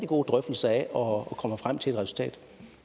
gode drøftelser af og at vi kommer frem til et resultat